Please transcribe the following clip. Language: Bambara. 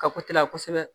Ka kote la kosɛbɛ